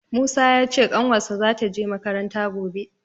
Musa ya ce ƙanwarsa za ta je makaranta gobe